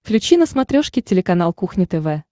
включи на смотрешке телеканал кухня тв